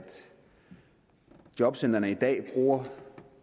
jobcentrene i dag bruger